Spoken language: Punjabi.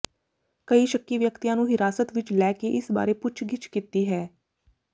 ਕਈ ਸ਼ੱਕੀ ਵਿਅਕਤੀਆਂ ਨੂੰ ਹਿਰਾਸਤ ਵਿੱਚ ਲੈ ਕੇ ਇਸ ਬਾਰੇ ਪੁੱਛਗਿੱਛ ਕੀਤੀ ਹੈ